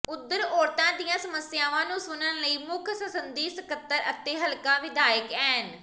ਓਧਰ ਔਰਤਾਂ ਦੀਆਂ ਸਮੱਸਿਆਵਾਂ ਨੂੰ ਸੁਣਨ ਲਈ ਮੁੱਖ ਸੰਸਦੀ ਸਕੱਤਰ ਅਤੇ ਹਲਕਾ ਵਿਧਾਇਕ ਐਨ